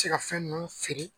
A se ka fɛn ninnu feere